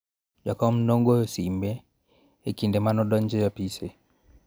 jakon ne goyo sime e kinde mane adonjo e apise